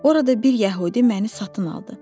Orada bir yəhudi məni satın aldı.